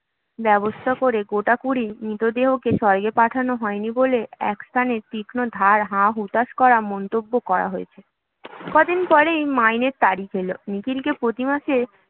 ব্যবস্থা করে গোটা কুড়ি মৃতদেহকে স্বর্গে পাঠানো হয়নি বলে একস্থানে তীক্ষ্ণধার হা-হুঁতাশভরা মন্তব্য করা হয়েছে কদিন পরেই মাইনের তারিখ এল নিখিলকে প্রতিমাসে